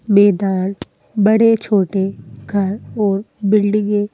मैदान बड़े-छोटे घर और बिल्डिगें --